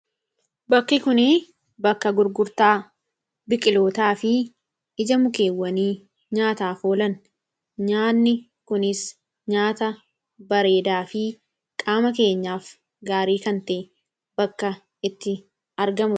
Bakki kuni bakka gurgurtaa biqilootaa fi ija mukeewanii nyaataaf oolan. Nyaanni kunis nyaata bareedaa fi qaama keenyaaf gaarii kan ta'e bakka itti argamudha.